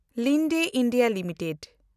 Linde India limited